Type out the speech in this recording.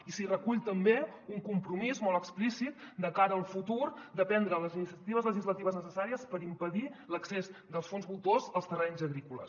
i s’hi recull també un compromís molt explícit de cara al futur de prendre les iniciatives legislatives necessàries per impedir l’accés dels fons voltors als terrenys agrícoles